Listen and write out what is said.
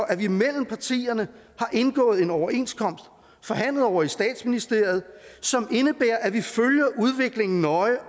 at vi imellem partierne har indgået en overenskomst forhandlet ovre i statsministeriet som indebærer at vi følger udviklingen nøje